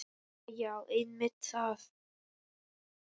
Jæja já, einmitt það.